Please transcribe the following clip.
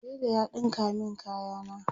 tela ya ɗinka min kaya na